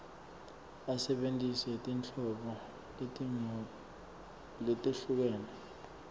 asebentise tinhlobo letehlukene